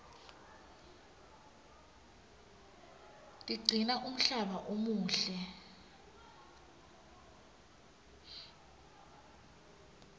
tiqcina umhlaba umuhle